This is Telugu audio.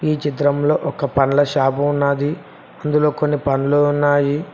ఈ చిత్రంలో ఒక పండ్ల షాపు ఉన్నాది అందులో కొన్ని పండ్లు ఉన్నాయి.